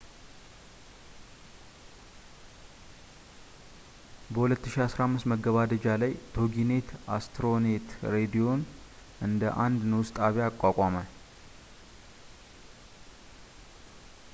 በ 2015 መገባደጃ ላይ ቶጊኔት አስትሮኔት ሬዲዮን እንደ አንድ ንዑስ ጣቢያ አቋቋመ